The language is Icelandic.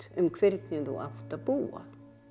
um hvernig þú átt að búa